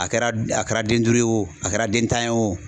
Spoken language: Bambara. A kɛra a kɛra den duuru ye o a kɛra den tan ye o